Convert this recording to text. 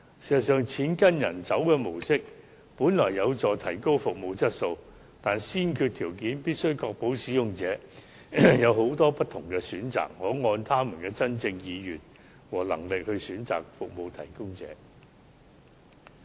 事實上，"錢跟病人走"的模式本來有助提高服務質素，但先決條件是必須確保使用者有許多不同選擇，可按他們真正的意願和能力選擇服務提供者。